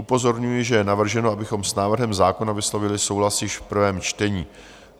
Upozorňuji, že je navrženo, abychom s návrhem zákona vyslovili souhlas již v prvém čtení.